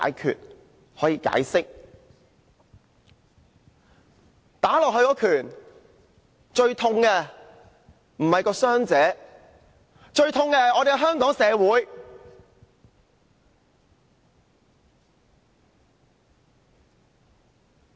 他們打在受害人身上的一拳，最痛的並不是傷者，最痛的是香港社會。